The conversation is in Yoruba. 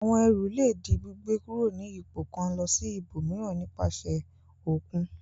Àwọn ẹrù le di gbígbé kúrò ní ipò kan lọ ibòmíràn nípasẹ̀ òkun.